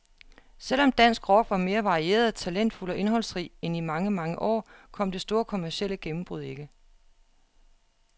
Selv om dansk rock var mere varieret, talentfuld og indholdsrig end i mange, mange år, kom det store kommercielle gennembrud ikke.